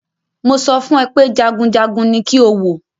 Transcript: Mo sọ fún ẹ pé jagunjagun ní kí o wò!